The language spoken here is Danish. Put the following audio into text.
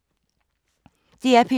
DR P2